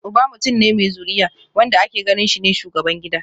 Uba mutum ne mai zuriya, wanda ake ganin shi ne shugaban gida